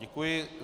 Děkuji.